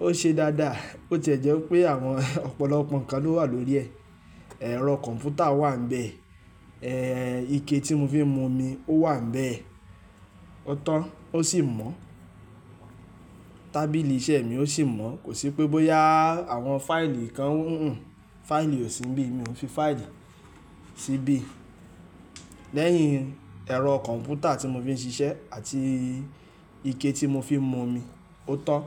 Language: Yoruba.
ó ṣe dáadáa. Bo ti e jẹ́ pé àwọn ọ̀pọ̀lọpọ̀ nǹkan ló wà lórí ẹ̀. Ẹ̀rọ kọ̀ǹpútà wà nbẹ̀, ẹ́ ìké tí mo fi ń mu omi wà níbẹ̀ ó tan ó sì mọ́. Tábìlì iṣẹ́ mi ó sì mọ́. Kò sí pé bóyá àwọn fáìlì kan, fáìlì ò sí níbí. Mi ò fi fáìlì síbí. Lẹ́yìn ẹ̀rọ kọ̀ǹpútà tí mo fi ń ṣiṣẹ́ àti ìké tí mo fi ń mu omi, ó tan.